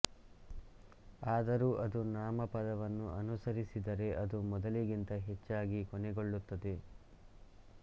ಆದರೂ ಅದು ನಾಮಪದವನ್ನು ಅನುಸರಿಸಿದರೆ ಅದು ಮೊದಲಿಗಿಂತ ಹೆಚ್ಚಾಗಿ ಕೊನೆಗೊಳ್ಳುತ್ತದೆ